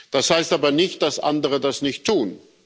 Das heißt aber nicht, dass andere das nicht tun.